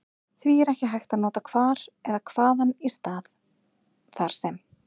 Því er ekki hægt að nota hvar eða hvaðan í stað þar sem.